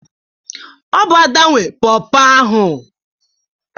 Ọ bụ Ada nwe Pọọpọ ahụ.